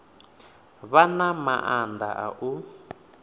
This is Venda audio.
vha na maanḓa a u